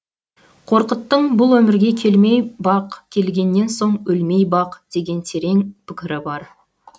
қорқыттың бұл өмірге келмей бақ келгеннен соң өлмей бақ деген терең пікірі бар